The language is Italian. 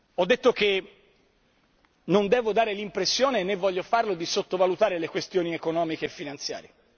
Ho detto che non devo dare l'impressione né voglio farlo di sottovalutare le questioni economiche e finanziarie.